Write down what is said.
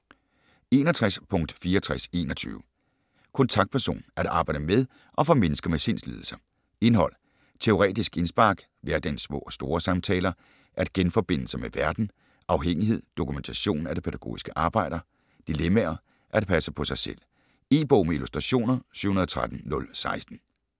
61.6421 Kontaktperson: at arbejde med og for mennesker med sindslidelser Indhold: Teoretiske indspark, Hverdagens små og store samtaler, At genforbinde sig med verden, Afhængighed, Dokumentation af det pædagogiske arbejde, Dilemmaer, At passe på sig selv. E-bog med illustrationer 713016 2013.